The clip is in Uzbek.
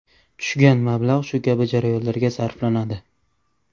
Tushgan mablag‘lar shu kabi jarayonlarga sarflanadi.